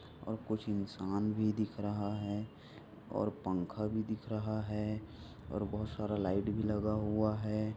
और कुछ इंसान भी दिख रहा है और पंखा भी दिख रहा है और बहुत सारा लाइट भी लगा हुआ है।